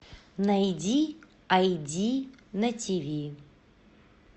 найди айди на тиви